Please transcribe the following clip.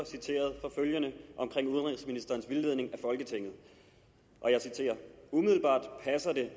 citeret for følgende omkring udenrigsministerens vildledning af folketinget umiddelbart passer det